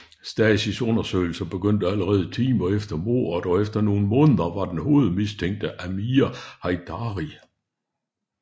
Stasis undersøgelsen begyndte allerede timer efter mordet og efter nogle måneder var den hovedmistænkte Amir Heidari